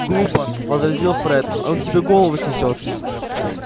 глупо возразил фред он тебе голову снесёт